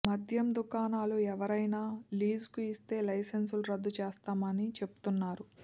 మద్యం దుకాణాలు ఎవరికైనా లీజుకు ఇస్తే లైసెన్సులు రద్దు చేస్తామని చెబుతున్నారు